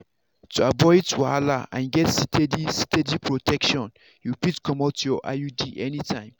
to avoid wahala and get steady steady protection you fit comot your iud anytime.